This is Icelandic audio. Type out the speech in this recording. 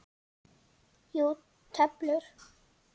Já, töflur.